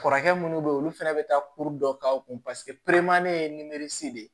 Kɔrɔkɛ munnu bɛ ye olu fɛnɛ bi taa kuru dɔ k'aw kun paseke ye de ye